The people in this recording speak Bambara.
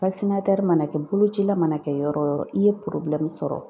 mana kɛ bolocila mana kɛ yɔrɔ o yɔrɔ i ye sɔrɔ